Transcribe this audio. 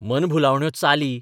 मनभुलावण्यो चाली.